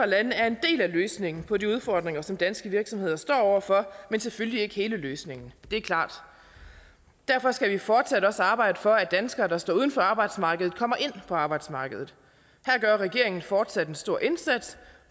lande er en del af løsningen på de udfordringer som danske virksomheder står over for men selvfølgelig ikke hele løsningen det er klart derfor skal vi fortsat også arbejde for at danskere der står uden for arbejdsmarkedet kommer ind på arbejdsmarkedet her gør regeringen fortsat en stor indsats